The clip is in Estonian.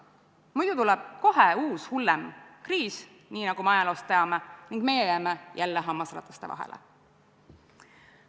Muidu tuleb kohe uus ja hullem kriis, nagu me ajaloost teame, ning me jääme jälle hammasrataste vahele.